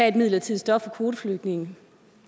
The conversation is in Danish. et midlertidigt stop for kvoteflygtninge